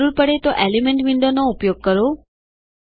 જરૂર પડે તો એલિમેન્ટ વિન્ડોવનો ઉપયોગ કરો